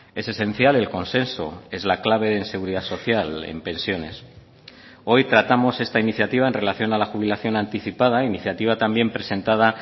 es esencial el consenso es la clave en seguridad social en pensiones hoy tratamos esta iniciativa en relación a la jubilación anticipada iniciativa también presentada